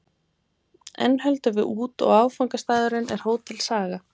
Enn höldum við út, og áfangastaðurinn er Hótel Saga.